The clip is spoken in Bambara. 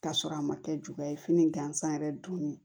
K'a sɔrɔ a ma kɛ juya ye fini gansan yɛrɛ don